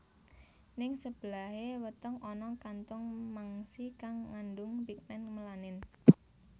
Ning sebelahé weteng ana kantung mangsi kang ngandung pigmen melanin